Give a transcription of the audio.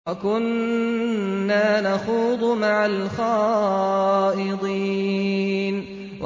وَكُنَّا نَخُوضُ مَعَ الْخَائِضِينَ